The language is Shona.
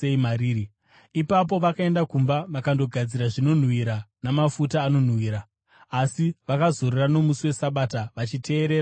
Ipapo vakaenda kumba vakandogadzira zvinonhuhwira namafuta anonhuhwira. Asi vakazorora nomusi weSabata vachiteerera murayiro.